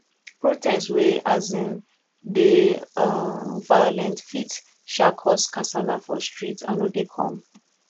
protest wey um dey um violent fit um cause kasala for street i no dey come